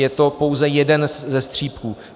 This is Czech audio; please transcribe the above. Je to pouze jeden ze střípků.